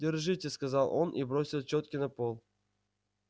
держите сказал он и бросил чётки на пол